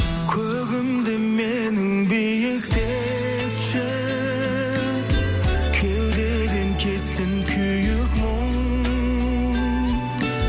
көгімді менің биіктетші кеудеден кетсін күйік мұң